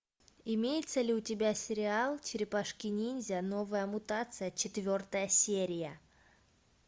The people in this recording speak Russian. имеется ли у тебя сериал черепашки ниндзя новая мутация четвертая серия